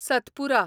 Satpura